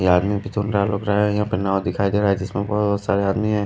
ये आदमी भी लग रहा है यहां पे नाव दिखाई दे रहा है जिसमे बहुत सारे आदमी है।